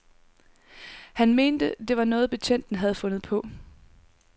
Han mente, det var noget, betjenten havde fundet på.